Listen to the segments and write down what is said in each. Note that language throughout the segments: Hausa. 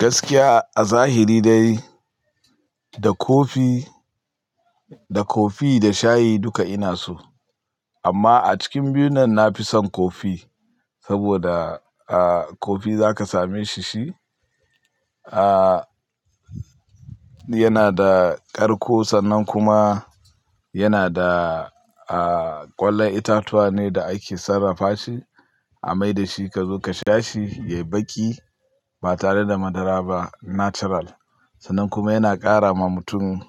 Gaskiya a zahiri dai da kofi-- da kofi da shayi duka ina so. Amma a cikin biyunnan nafi son kofi saboda, aaa, kofi zaka same shi shi, aa, yana da ƙarko sannan kuma yana da, aa, ƙwallon itatuwa ne da ake sarrafa shi a mai da shi ka zo ka sha shi, ya yi baƙi ba tare da madara ba natural. Sannan kuma yana ƙara ma mutum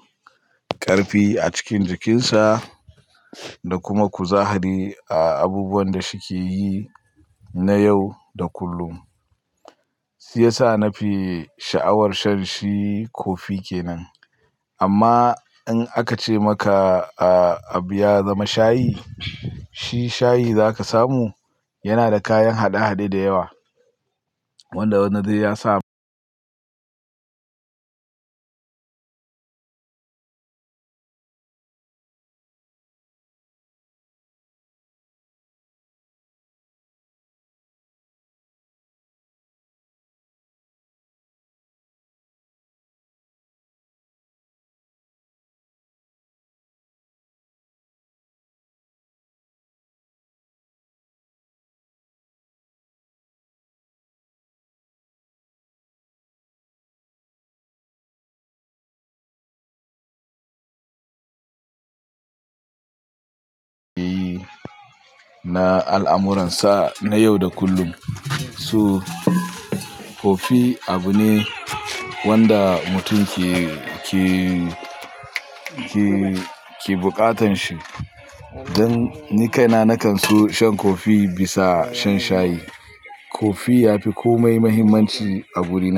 ƙarfi a cikin jikinsa da kuma kuzari a abubuwan da shi ke yi na yau da kullum. Si yasa na fi sha'awar shan shi kofi kenan. Amma in aka ce maka, aa, abu ya zama shayi, shi shayi zaka samu. Yana da kayan hade-hade da yawa wanda wannan dai ya sa- na al'amuran sa na yau da kullum. Su kofi abu ne wanda mutum ke, ke, ke, ke buƙatan shi. Dan ni kaina na kan so shan kofi bisa shan shayi. Kofi ya fi komai muhimmanci a guri na.